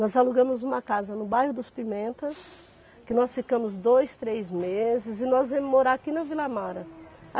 Nós alugamos uma casa no bairro dos Pimentas, que nós ficamos dois, três meses, e nós viemos morar aqui na Vila Mara.